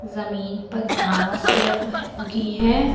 जमीन पर घास लग उगी है।